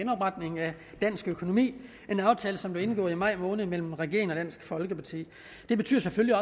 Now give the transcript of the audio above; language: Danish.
genopretning af dansk økonomi en aftale som blev indgået i maj måned mellem regeringen og dansk folkeparti det betyder selvfølgelig